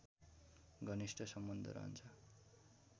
घनिष्ठ सम्बन्ध रहन्छ